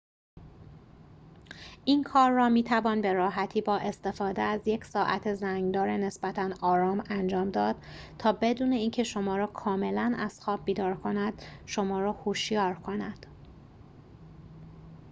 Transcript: این کار را می توان به راحتی با استفاده از یک ساعت زنگ دار نسبتاً آرام انجام داد تا بدون اینکه شما را کاملا از خواب بیدار کند شما را هوشیار کند